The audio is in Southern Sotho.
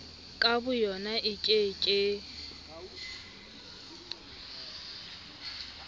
ka boyona e ke ke